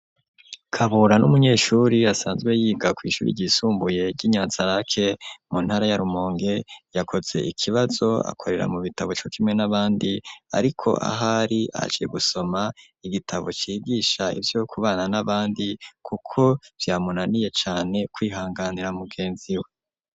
Kabura n'umunyeshuri asanzwe yiga kw'ishuri ryisumbuye ryi Nyanzarake mu ntara ya Rumonge yakoze ikibazo akorera mu bitabo cokimwe n'abandi ariko ahari aciye gusoma igitabo cigisha ivyo kubana n'abandi kuko vyamunaniye cane kwihanganira mugenzi we.